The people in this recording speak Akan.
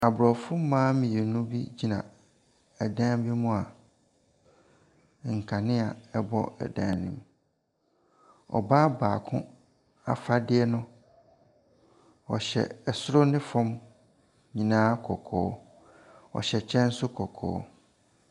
Aborɔfo mmaa mmienu gyina dan bi mu a nkanea bɔ dan ne mu. Ɔbaa baako afadeɛ no, ɔhyɛ soro ne famu nyinaa kɔkɔɔ, ɔhyɛ kyɛ nso kɔkɔɔ.